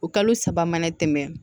O kalo saba mana tɛmɛ